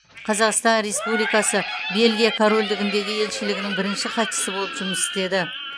қазақстан республикасы бельгия корольдігіндегі елшілігінің бірінші хатшысы болып жұмыс істеді